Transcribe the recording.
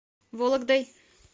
вологдой